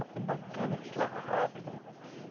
É bacana que se lava rápido.